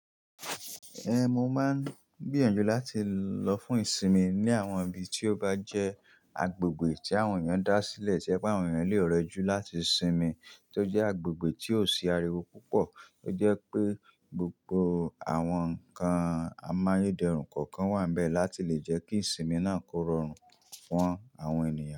Ehn, mo máa ń gbìyànjú láti lọ fún ìsinmi ní àwọn ibi tí ó bá jẹ́ agbègbè tí àwọn èèyàn dá sílẹ̀ tí ẹ pé àwọn èèyàn lè rọjú láti sinmi, tí ó jẹ́ agbègbè tí ò sí ariwo púpọ̀. Ó jẹ́ pé gbogbo àwọn nǹkan amáyé dẹrùn kọ̀ọ̀kan wà níbẹ̀ láti lè jẹ́ kí ìsinmi náà kó rọrùn fún àwọn ènìyàn.